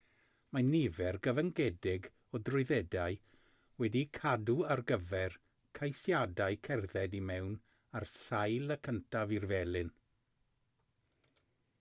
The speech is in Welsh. mae nifer gyfyngedig o drwyddedau wedi'u cadw ar gyfer ceisiadau cerdded i mewn ar sail y cyntaf i'r felin